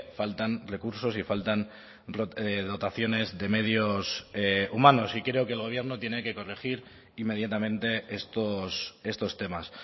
faltan recursos y faltan dotaciones de medios humanos y creo que el gobierno tiene que corregir inmediatamente estos temas